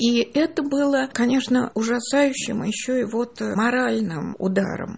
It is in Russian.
и это было конечно ужасающим ещё и вот моральным ударом